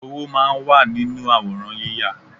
Owó máa ń wà nínú àwòrán yíya